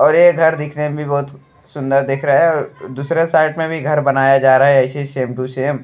और ये घर दिखने में भी बहुत सुन्दर दिख रहा दूसरे साइड में भी घर बनाया जा रहा है ऐसे ही सेम टू सेम ।